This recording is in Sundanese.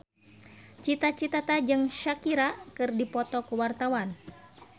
Cita Citata jeung Shakira keur dipoto ku wartawan